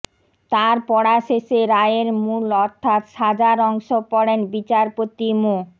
তার পড়া শেষে রায়ের মূল অর্থাৎ সাজার অংশ পড়েন বিচারপতি মো